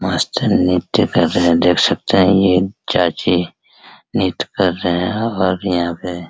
मस्त नित्तय कर रहे हैं देख सकते हैं ये चाची नित्तय कर रहे हैं और यहां पे --